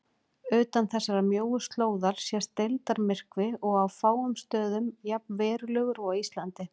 Utan þessarar mjóu slóðar sést deildarmyrkvi og á fáum stöðum jafn verulegur og á Íslandi.